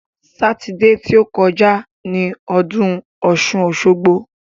Sátidé ti ó kọjá ni ọdún ọ̀ṣun-òṣogbo.